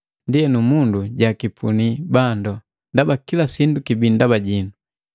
Ndienu mundu jakipuni bandu. Ndaba kila sindu kibii ndaba jinu,